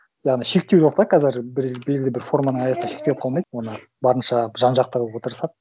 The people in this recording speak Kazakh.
яғни шектеу жоқ та қазір бір белгілі бір форманың аясында шектеліп қалмайды оны барынша жан жақты қылуға тырысады